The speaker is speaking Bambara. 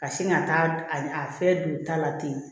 Ka sin ka taa a fɛn don ta la ten